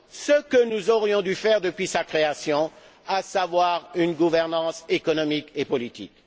ce que nous aurions dû faire depuis sa création, à savoir une gouvernance économique et politique.